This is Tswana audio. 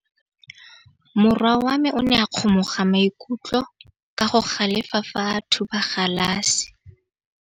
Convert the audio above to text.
Morwa wa me o ne a kgomoga maikutlo ka go galefa fa a thuba galase.